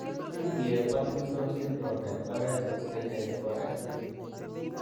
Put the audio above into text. Kindie Partington syndrome en oret neketukei nebo X linked.